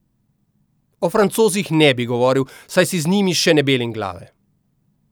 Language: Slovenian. O Francozih ne bi govoril, saj si z njimi še ne belim glave.